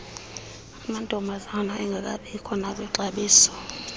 amantombazana engekabikho nakwixabiso